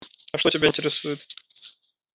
а что тебя интересует